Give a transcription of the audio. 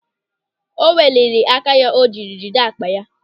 O weliri áká ya o jiri jide akpa ya.